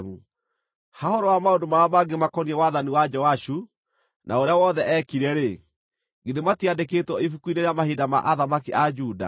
Ha ũhoro wa maũndũ marĩa mangĩ makoniĩ wathani wa Joashu, na ũrĩa wothe eekire-rĩ, githĩ matiandĩkĩtwo ibuku-inĩ rĩa mahinda ma athamaki a Juda?